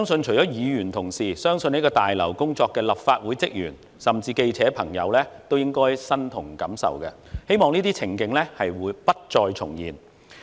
除了議員同事，我相信在大樓工作的立法會職員甚至記者朋友都應該感同身受，希望這些情景不再重現。